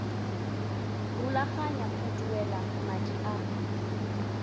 rulaganya go duela madi a